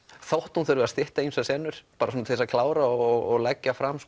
þótt hún þurfi að stytta ýmsar senur bara svona til að klára og leggja fram